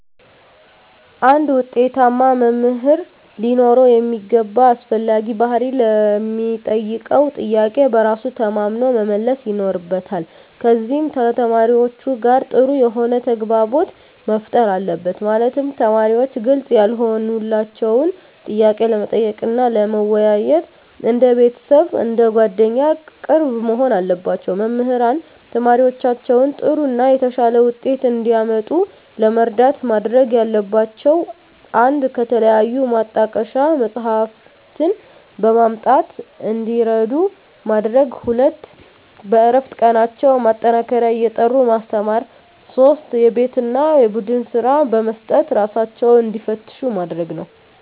አንድ ውጤታማ መምህር ሊኖረው የሚገባ አስፈላጊ ባህሪ ለሚጠየቀው ጥያቄ በራሱ ተማምኖ መመለስ ይኖርበታል ከዚም ከተማሪዎቹ ጋር ጥሩ የሆነ ተግባቦት መፍጠር አለበት ማለትም ተማሪዎች ግልጽ ያልሆነላቸውን ጥያቄ ለመጠየቅ እና ለመወያየት እንደ ቤተሰብ አንደ ጓደኛ ቅርብ መሆን አለባቸው። መምህራን ተማሪዎቻቸውን ጥሩ እና የተሻለ ውጤት እንዲያመጡ ለመርዳት ማድረግ ያለባቸው 1 ከተለያዩ ማጣቀሻ መፅሃፍትን በማምጣት እንዲረዱ ማድረግ 2 በእረፍት ቀናቸው ማጠናከሪያ እየጠሩ ማስተማር 3 የቤት እና የቡድን ስራ በመስጠት እራሳቸውን እንዲፈትሹ ማድረግ ነው